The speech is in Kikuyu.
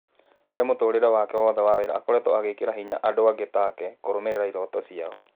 Harĩ mũtũrĩre wake wothe wa wĩra, akoretwo agĩkĩra hinya andũ angĩ take kũrũmĩrĩra iroto ciao.